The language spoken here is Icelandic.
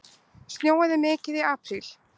Snjóaði mikið í apríl?